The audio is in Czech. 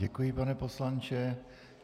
Děkuji, pane poslanče.